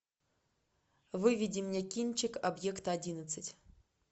выведи мне кинчик объект одиннадцать